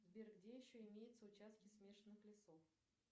сбер где еще имеются участки смешанных лесов